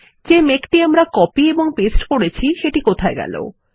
যে মেঘটি আমরা কপি এবং পেস্ট করেছি সেটি কোথায়160